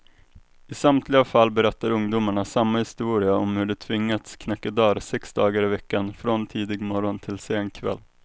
I samtliga fall berättar ungdomarna samma historia om hur de tvingats knacka dörr sex dagar i veckan, från tidig morgon till sen kväll.